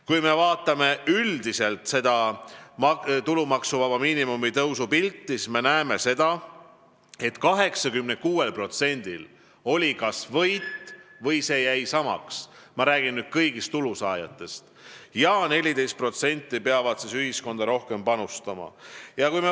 Kui me vaatame üldiselt tulumaksuvaba miinimumi tõusu pilti, siis me näeme, et 86%-l oli kas võit või seis jäi samaks – ma räägin nüüd kõigist tulusaajatest – ja 14% peab ühiskonda rohkem panustama.